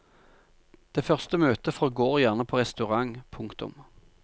Det første møtet forgår gjerne på restaurant. punktum